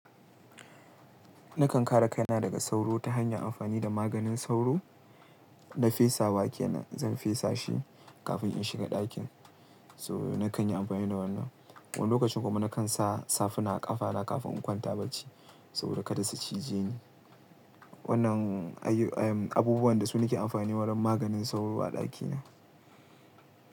Nakan kare kaina daga sauro ta hanyar amfani da maganin sauro na fesawa kenan. Zan fesa shi kafin in shiga ɗakin, so nakan yi amfani da wannan. Wani lokacin kuma nakan sa safuna a ƙafana kafin in kwanta bacci saboda kada su cije ni. Wannan ayy-ayy, abubuwan da su nake amfani wadan maganin sauro a ɗaki na.